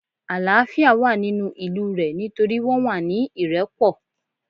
Àlááfíà wà nínú ìlú rẹ̀ nítorí wọ́n wà ní ìrẹ́pọ̀